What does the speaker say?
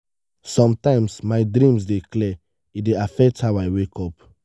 sometimes my dreams dey clear e dey affect how i wake up.